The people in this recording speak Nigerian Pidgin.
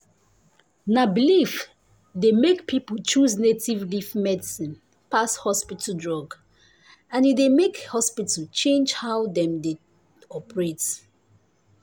na belief dey make people choose native leaf medicine pass hospital drug and e dey make hospital change how dem dey operate.